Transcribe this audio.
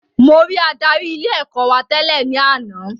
Mo rí adarí ilé ẹ̀kọ́ wa tẹ́lẹ̀ ní àná